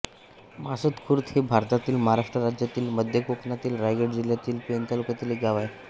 मासद खुर्द हे भारतातील महाराष्ट्र राज्यातील मध्य कोकणातील रायगड जिल्ह्यातील पेण तालुक्यातील एक गाव आहे